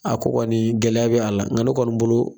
A ko kɔni gɛlɛya bɛ a la nga ne kɔni bolo.